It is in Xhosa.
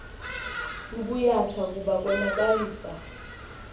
bubuyatha kuba konakalisa